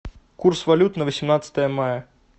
курс валют на восемнадцатое мая